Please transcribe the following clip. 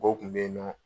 Ko kun bɛ yen nɔ